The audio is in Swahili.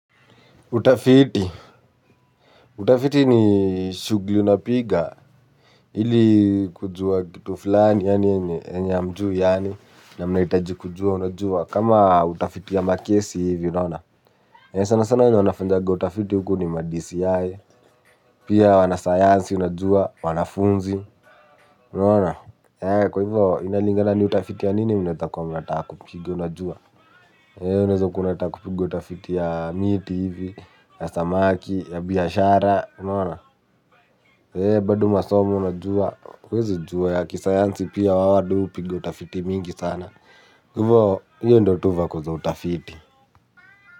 Utafiti. Utafiti ni shughuli unapiga ili kujua kitu fulani yenye hamjui yaani na mnahitaji kujua unajua. Kama utafiti ya makesi hivi unaona. Sana sana wanafanyaga utafiti huku ni ma DCI. Pia wana sayansi unajua, wanafunzi unaona. Kwa hivyo inalingana ni utafiti ya nini unataeza kua unataka kupiga unajua. Unaweza kua unataka utafiti ya miti hivi, ya samaki, ya biashara, unaona? Bado masomo unajua, huwezi jua ya kisayansi pia wawadu hupiga utafiti mingi sana. Hivo, hiyo ndio tu vako za utafiti.